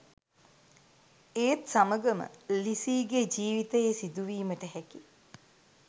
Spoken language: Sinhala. ඒත් සමගම ලිසීගේ ජීවිතයේ සිදුවීමට හැකි